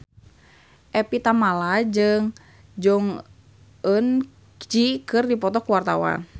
Evie Tamala jeung Jong Eun Ji keur dipoto ku wartawan